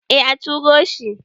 eh a turo shi